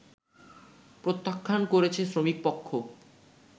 প্রত্যাখ্যান করেছে শ্রমিকপক্ষ